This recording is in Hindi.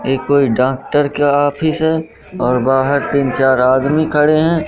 ये कोई डॉक्टर के ऑफिस है और बाहर तीन चार आदमी खड़े हैं।